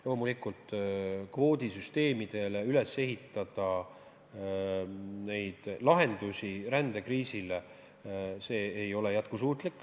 Loomulikult, kvoodisüsteemidele ei saa rändekriisi lahendusi üles ehitada, see ei ole jätkusuutlik.